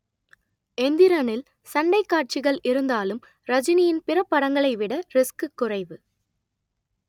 எந்திரனில் சண்டைக் காட்சிகள் இருந்தாலும் ரஜினியின் பிற படங்களைவிட ரிஸ்க் குறைவு